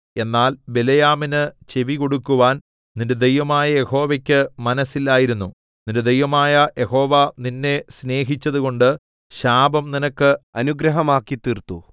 എന്നാൽ ബിലെയാമിന് ചെവികൊടുക്കുവാൻ നിന്റെ ദൈവമായ യഹോവയ്ക്ക് മനസ്സില്ലായിരുന്നു നിന്റെ ദൈവമായ യഹോവ നിന്നെ സ്നേഹിച്ചതുകൊണ്ട് ശാപം നിനക്ക് അനുഗ്രഹമാക്കിത്തീർത്തു